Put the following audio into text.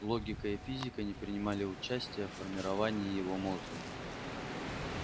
логика и физика не ггринимали участия в формировании его мозга